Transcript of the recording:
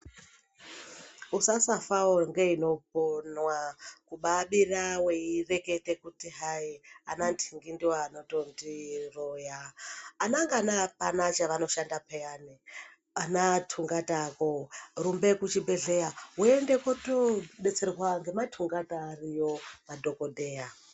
Usasafawo ngeinoponwa kubaabira weirekete kuti hayi ananhingi ndiwo anotondiroya. Anangana apana chavanoshanda peyani, anathungatavo. Rumbe kuchibhedhlera woende kotoodetserwa ngemathungata ariyo madhokodheya.